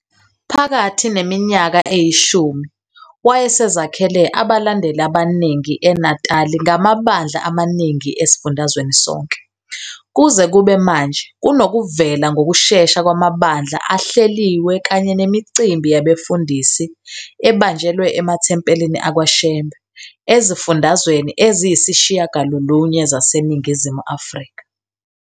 Phakathi neminyaka eyishumi, wayesezakhele abalandeli abaningi eNatali ngamabandla amaningi esifundazweni sonke. Kuze kube manje, kunokuvela ngokushesha kwamabandla ahleliwe kanye nemicimbi yabefundisi, ebanjelwe emathempelini akwaShembe, ezifundazweni eziyisishiyagalolunye zaseNingizimu Afrika.